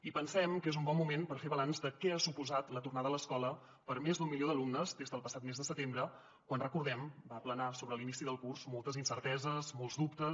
i pensem que és un bon moment per fer balanç de què ha suposat la tornada a l’escola per a més d’un milió d’alumnes des del passat mes de setembre quan recordem ho van planar sobre l’inici del curs moltes incerteses molts dubtes